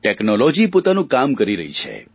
technology પોતાનું કામ કરી રહી છે